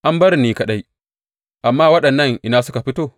An bar ni ni kaɗai, amma waɗannan, ina suka fito?’